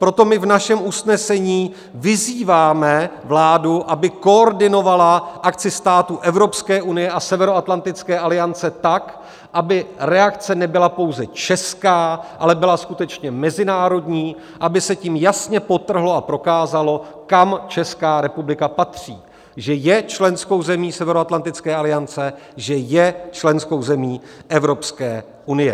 Proto my v našem usnesení vyzýváme vládu, aby koordinovala akci států Evropské unie a Severoatlantické aliance tak, aby reakce nebyla pouze česká, ale byla skutečně mezinárodní, aby se tím jasně podtrhlo a prokázalo, kam Česká republika patří, že je členskou zemí Severoatlantické aliance, že je členskou zemí Evropské unie.